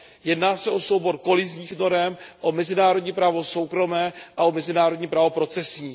Jedná se o soubor kolizních norem, o mezinárodní právo soukromé a o mezinárodní právo procesní.